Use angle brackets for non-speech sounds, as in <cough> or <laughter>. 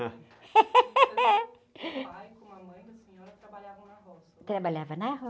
<laughs> ntão o pai como a mãe da senhora trabalhavam na roça?rabalhavam na